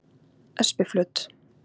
Espiflöt